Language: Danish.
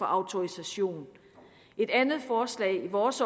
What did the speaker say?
autorisation et andet forslag i vores